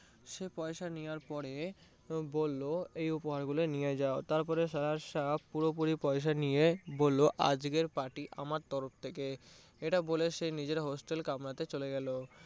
সে পয়সা নেওয়ার পরে বললো উপহার গুলো নিয়ে যায় তারপরে সাহেব পুরোপুরি পয়সা নিয়ে বললো আজকের party আমার তরফ থেকে এটা বলে সে নিজের hostel কামরা তে চলে গেলো।